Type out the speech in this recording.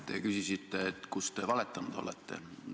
Te küsisite, et kus te valetanud olete.